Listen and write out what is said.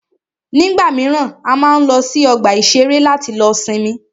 Nígbà míràn, a máa ń lọ sí ọgbà ìṣẹ̀rẹ́ láti lọ sinmi.